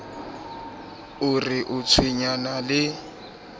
o re o tshwenyana le